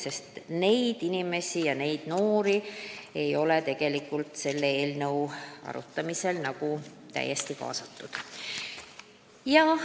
Seni ei ole noori inimesi selle eelnõu arutamisse korralikult kaasatud.